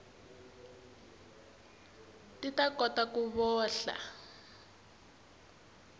ti ta kota ku vohla